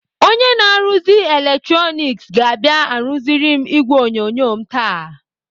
Onye na-arụziri eletroniks ga-abịa arụziri m ìgwè onyonyo m taa.